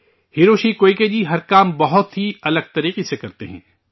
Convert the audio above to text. Hiroshi Koike ji ہر کام بہت ہی الگ طریقے سے کرتے ہیں